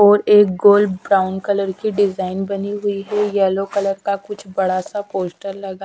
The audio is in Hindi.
और एक गोल ब्राउन कलर की डिजाइन बनी हुई हैं येलो कलर का कुछ बड़ा सा पोस्टर लगा--